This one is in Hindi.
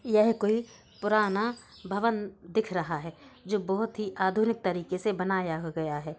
यह कोई पुराना भवन दिख रहा है जो बोहोत ही आधुनिक तरीके से बनाया गया है।